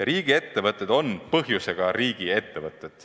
Riigiettevõtted on põhjusega riigiettevõtted.